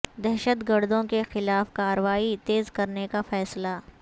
دہشت گردوں کے خلاف کارروائی تیز کرنے کا فیصلہ